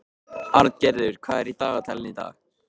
Arngerður, hvað er í dagatalinu í dag?